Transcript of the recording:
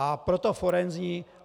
A proto forenzní.